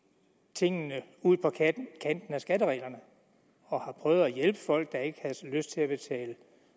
tingene ud på kanten af skattereglerne og har prøvet at hjælpe folk der ikke havde lyst til at betale